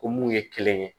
Ko mun ye kelen ye